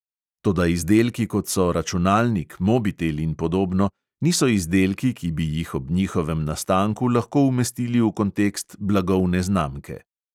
Toda izdelki, kot so računalnik, mobitel in podobno, niso izdelki, ki bi jih ob njihovem nastanku lahko umestili v kontekst blagovne znamke.